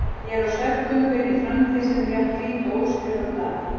Ég er á svefngöngu inn í framtíð sem er jafn hvít og óskrifað blað.